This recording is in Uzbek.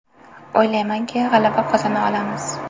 O‘ylaymanki, g‘alaba qozona olamiz.